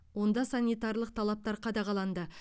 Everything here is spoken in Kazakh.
онда санитарлық талаптар қадағаланды